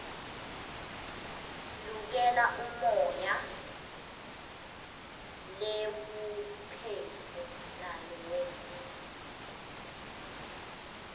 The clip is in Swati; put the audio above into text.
siuikele umoya leiwuphefu nulako